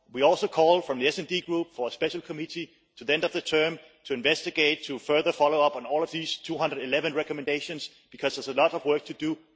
We also call, from the SD Group, for a special committee to be set up until the end of the term to investigate, to further follow up on all of these 211 recommendations, because there is a lot of work to do.